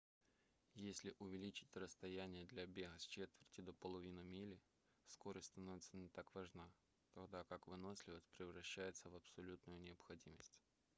если увеличить расстояние для бега с четверти до половины мили скорость становится не так важна тогда как выносливость превращается в абсолютную необходимость